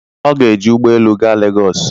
Ọ ga-eji ụgbọ elu gaa Lagos.